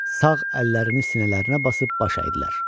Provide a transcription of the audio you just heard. Sağ əllərini sinələrinə basıb baş əydilər.